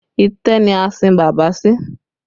Itẹ́ ni a sin bàbá sí